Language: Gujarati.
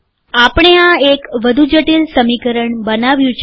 આપણે આ એક વધુ જટિલ સમીકરણ બનાવ્યુ છે